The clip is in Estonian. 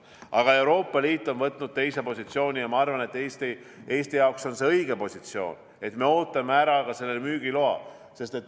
Aga Euroopa Liit on võtnud teise positsiooni ja ma arvan, et Eesti jaoks on see õige positsioon: me ootame ära ka müügiloa.